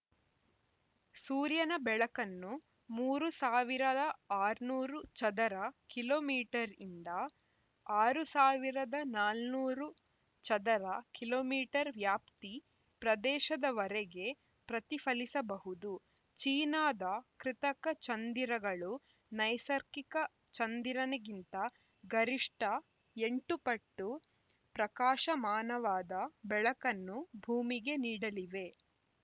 ಸೂರ್ಯನ ಬೆಳಕನ್ನು ಮೂರು ಸಾವಿರದ ಆರುನೂರು ಚದರ ಕಿಲೋ ಮೀಟರ್ ಯಿಂದ ಆರ್ ಸಾವಿರದ ನಾಲ್ನನೂರು ನೂರು ಚದರ ಕಿಲೋ ಮೀಟರ್ ವ್ಯಾಪ್ತಿ ಪ್ರದೇಶದವರೆಗೆ ಪ್ರತಿಫಲಿಸಬಹುದು ಚೀನಾದ ಕೃತಕ ಚಂದಿರಗಳು ನೈಸರ್ಗಿಕ ಚಂದಿರನಿಗಿಂತ ಗರಿಷ್ಠ ಎಂಟು ಪಟ್ಟು ಪ್ರಕಾಶಮಾನವಾದ ಬೆಳಕನ್ನು ಭೂಮಿಗೆ ನೀಡಲಿವೆ